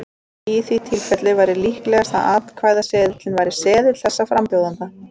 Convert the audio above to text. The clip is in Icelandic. Í því tilfelli væri líklegast að atkvæðaseðilinn væri seðill þess frambjóðanda.